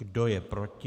Kdo je proti?